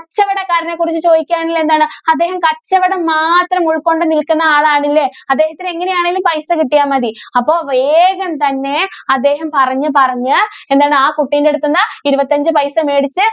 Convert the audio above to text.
കച്ചവടക്കാരനെ കുറിച്ച് ചോദിക്കുവാണേല്‍ എന്താണ്? അദ്ദേഹം കച്ചവടം മാത്രം ഉള്‍ക്കൊണ്ട് നില്‍ക്കുന്ന ആളാണല്ലേ? അദ്ദേഹത്തിന് എങ്ങനെയാണേലും പൈസ കിട്ടിയാ മതി. അപ്പോ വേഗം തന്നെ അദ്ദേഹം പറഞ്ഞ് പറഞ്ഞ് എന്താണ് ആ കുട്ടീൻറെ അടുത്തന്ന് ഇരുപത്തഞ്ച് പൈസ മേടിച്ച്